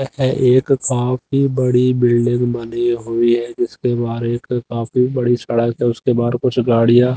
ए एक काफ़ी बड़ी बिल्डिंग बनी हुई है जिसके बाहर एक काफी बड़ी सड़क है उसके बाहर कुछ गाड़ियां--